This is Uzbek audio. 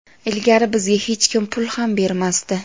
Ilgari bizga hech kim pul ham bermasdi.